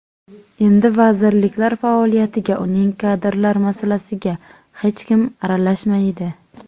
Endi vazirlik faoliyatiga, uning kadrlar masalasiga hech kim aralashmaydi.